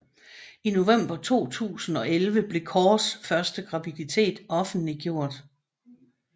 I november 2011 blev Corrs første graviditet offentliggjort